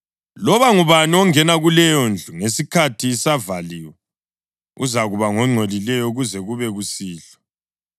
Loba ngubani ongena kuleyondlu ngesikhathi isavaliwe uzakuba ngongcolileyo kuze kube kusihlwa.